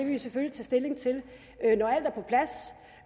vi selvfølgelig tage stilling til når alt